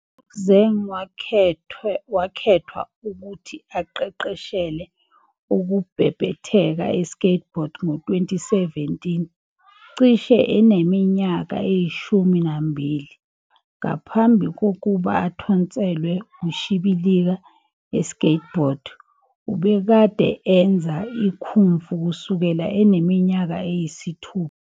UZeng wakhethwa ukuthi aqeqeshele ukubhebhetheka e-skateboard ngo-2017, cishe eneminyaka eyishumi nambili. Ngaphambi kokuba athontselwe ukushibilika e-skateboard, ubekade enza i- kung fu kusukela eneminyaka eyisithupha.